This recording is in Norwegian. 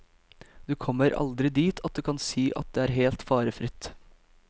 Du kommer aldri dit at du kan si at det er helt farefritt.